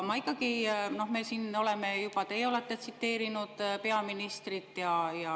Me oleme ja teie olete tsiteerinud peaministrit.